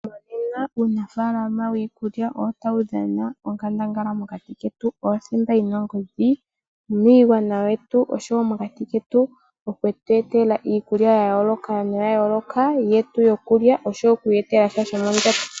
Monena uunafaalama wiikulya otawu dhana onkandangala mokati ketu. Owo othimba yina ongodhi miigwana yetu osho wo mokati ketu okutu etela iikulya yayooloka no yayooloka yetu yokulya osho wo okwiiyetelasha shomondjato.